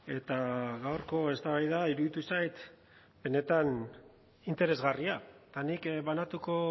eta gaurko eztabaida iruditu zait benetan interesgarria eta nik banatuko